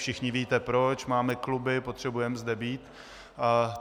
Všichni víte proč, máme kluby, potřebujeme zde být.